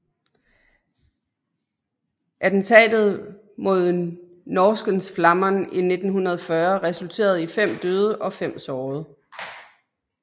Attentatet mod Norrskensflamman i 1940 resulterede i fem døde og fem sårede